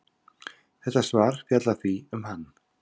Þetta svar fjallar því um hann.